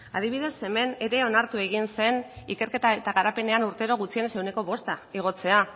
adibidez hemen ere onartu egin zen ikerketa eta garapenean urtero gutxienez ehuneko bosta igotzea